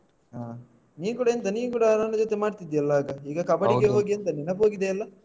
ಹಾ ನೀನ್ ಕೂಡ ಎಂತ ನೀನ್ ಕೂಡ ನನ್ನ ಜೊತೆ ಮಾಡ್ತಿದ್ಯಲ್ಲ ಆಗ ಈಗ ಕಬ್ಬಡಿಗೆ ಹೋಗಿ ಹೌದು ಎಂತ ನೆನಪು ಹೋಗಿದೆಯಾ ಎಲ್ಲಾ?